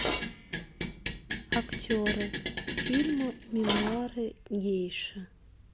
актеры фильма мемуары гейши